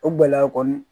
O gɛlɛya kɔni